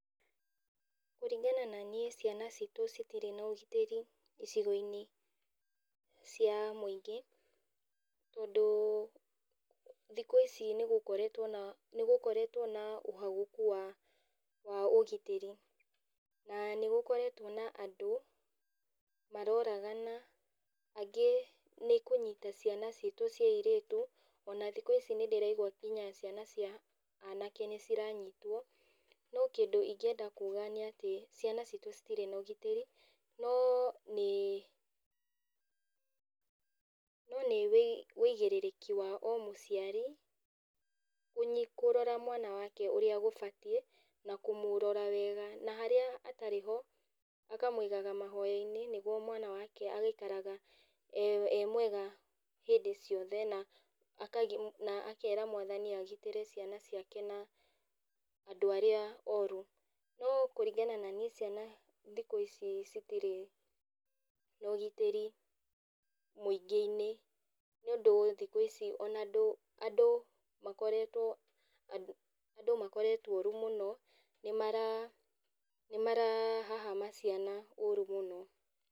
Kũringana na niĩ ciana citũ citirĩ na ũgitĩri icigoinĩ cia mũingĩ, tondũ thikũ ici nĩgũkoretwo na nĩgũkoretwo na ũhagũku wa wa ũgitĩri. Na nĩgũkoretwo na andũ, maroragana, angĩ nĩkũnyita ciana citũ cia airĩtu, ona thikũ ici nindĩraigua nginya ciana cia anake nĩciranyitwo, no kĩndũ ingĩenda kuga nĩatĩ, ciana citũ citirĩ na ũgitĩrĩ, no nĩ no nĩ wĩ wĩigĩrĩrĩki wa o mũciari, kũnyi kũrora mwana wake ũrĩa gũbatiĩ, na kũmũrora wega na harĩa atarĩ ho, akamũigaga mahoyainĩ, nĩguo mwana wake agaikaraga e e mwega hindĩ ciothe, na na akera mwathani agitĩre ciana ciake na andũ arĩa oru. No kũringana na niĩ ciana thikũ ici citirĩ na ũgitĩri, mũingĩinĩ, nĩũndũ thikũ ici ona andũ andũ makoretwo andũ makoretwo oru mũno, nĩmara, nĩmara hahama ciana ũru mũno.